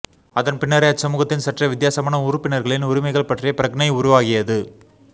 அதன் பின்னரே அச்சமூகத்தின் சற்றே வித்தியாசமான உறுப்பினர்களின் உரிமைகள் பற்றிய பிரக்ஞை உருவாகியது